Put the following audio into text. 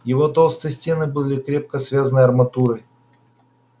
его толстые стены были крепко связаны арматурой